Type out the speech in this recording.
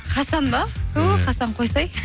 хасан ба түһ хасан қойсай